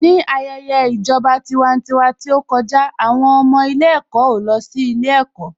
Ní ayẹyẹ ìjọba tiwantiwa tí ó kọjá, àwọn ọmọ ilé-ẹ̀kọ́ ò lọ sí ilé-ẹ̀kọ́.